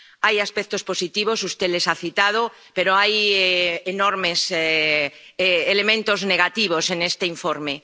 Hay aspectos positivos —usted los ha citado— pero hay enormes elementos negativos en este informe.